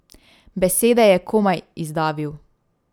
Besede je komaj izdavil.